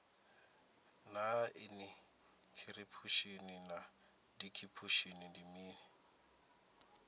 naa inikhiripushini na dikhipushin ndi mini